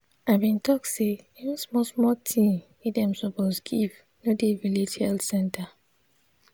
i bin talk say even small small thing wey dem suppose give no dey village health center.